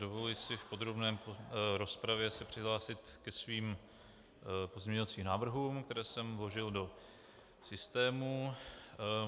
Dovoluji si v podrobné rozpravě se přihlásit ke svým pozměňovacím návrhům, které jsem vložil do systému.